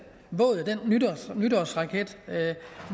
nytårsraket